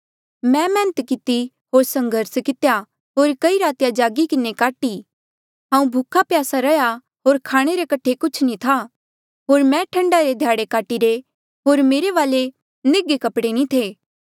मैं मैहनत किती होर संघर्स कितेया होर कई रातीया जागी किन्हें काटी हांऊँ भूखप्यासा रहा होर खाणे रे कठे कुछ नी था होर मैं ठंडा रे ध्याड़े काटीरे होर मेरे वाले निघे कपड़े नी थे